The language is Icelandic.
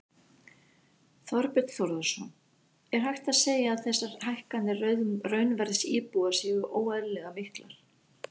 Þorbjörn Þórðarson: Er hægt að segja að þessar hækkanir raunverðs íbúða séu óeðlilega miklar?